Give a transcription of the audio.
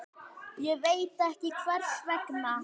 Ekki veit ég hvers vegna.